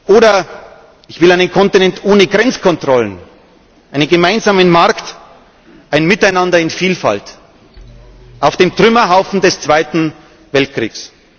Oder ich will einen Kontinent ohne Grenzkontrollen, einen gemeinsamen Markt, ein Miteinander in Vielfalt auf dem Trümmerhaufen des Zweiten Weltkriegs.